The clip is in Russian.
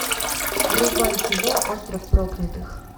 врубай кино остров проклятых